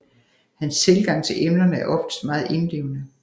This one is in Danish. Hans tilgang til emnerne er oftest meget indlevende